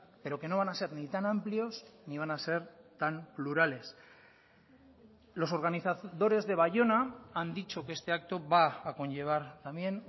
pero que no van a ser ni tan amplios ni van a ser tan plurales los organizadores de baiona han dicho que este acto va a conllevar también